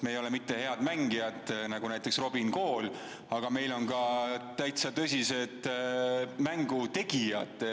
Meil ei ole mitte ainult head mängijad, nagu näiteks Robin Kool, meil on ka täitsa tõsised mängutegijad.